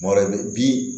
Mɔrɔ bɛ bi